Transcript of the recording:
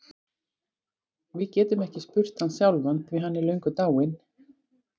Við getum ekki spurt hann sjálfan því hann er löngu látinn.